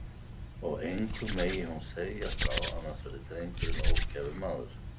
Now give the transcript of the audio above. Og engum megi hún segja frá, annars verði drengurinn ógæfumaður.